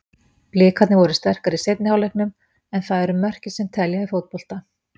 Blikarnir voru sterkari í seinni hálfleiknum, en það eru mörkin sem telja í fótbolta.